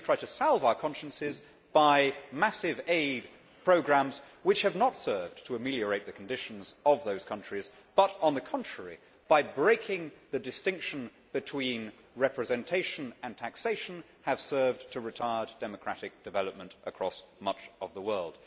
Then we have tried to salve our consciences by massive aid programmes which have not served to ameliorate the conditions of those countries but, on the contrary, by breaking the distinction between representation and taxation, have served to retard democratic development across much of the world.